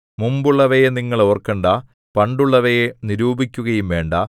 മുമ്പുള്ളവയെ നിങ്ങൾ ഓർക്കണ്ടാ പണ്ടുള്ളവയെ നിരൂപിക്കുകയും വേണ്ടാ